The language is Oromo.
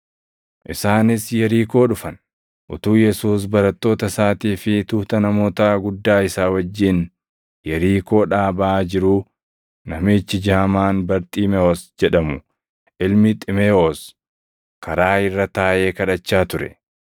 Isaanis Yerikoo dhufan. Utuu Yesuus barattoota isaatii fi tuuta namootaa guddaa isaa wajjin Yerikoodhaa baʼaa jiruu, namichi jaamaan Barxiimewos jedhamu ilmi Ximeewos karaa irra taaʼee kadhachaa ture.